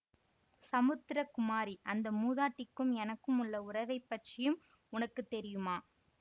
சமுத்திரகுமாரி அந்த மூதாட்டிக்கும் எனக்கும் உள்ள உறவை பற்றியும் உனக்கு தெரியுமா